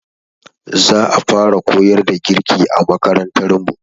Za a fara koyar da girki a makarantar mu.